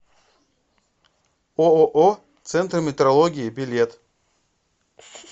ооо центр метрологии билет